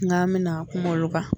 N k'a me na kuma olu kan